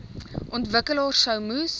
ontwikkelaars sou moes